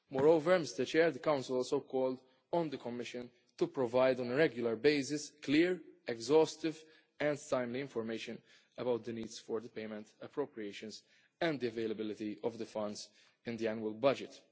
Moreover, the Council also called on the Commission to provide on a regular basis clear, exhaustive and timely information about the needs for the payment appropriations and the availability of the funds in the annual budget.